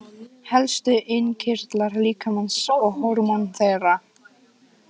Helstu innkirtlar líkamans og hormón þeirra.